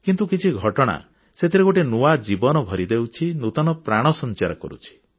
କିନ୍ତୁ କିଛି ଘଟଣା ସେଥିରେ ଗୋଟିଏ ନୂଆ ଜୀବନ ଭରି ଦେଉଛି ନୂତନ ପ୍ରାଣ ସଞ୍ଚାର କରୁଛି